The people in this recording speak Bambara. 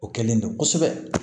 O kɛlen don kosɛbɛ